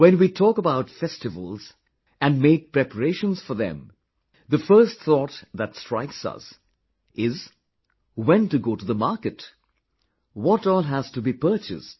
When we talk about festivals and make preparations for them, the first thought that strikes us is when to go to the market, what all has to be purchased